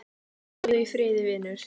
Já, þú.